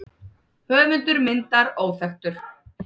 Höfundur myndar óþekktur.